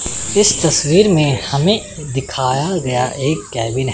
इस तस्वीर में हमें दिखाया गया एक केबिन है।